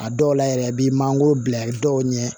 A dɔw la yɛrɛ i bi manankoro bila dɔw ɲɛ